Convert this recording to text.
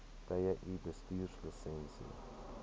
tye u bestuurslisensie